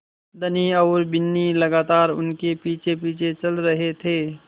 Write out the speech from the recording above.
धनी और बिन्नी लगातार उनके पीछेपीछे चल रहे थे